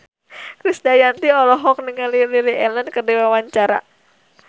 Krisdayanti olohok ningali Lily Allen keur diwawancara